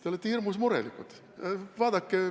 Te olete hirmus murelikud.